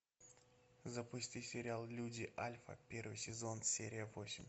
запусти сериал люди альфа первый сезон серия восемь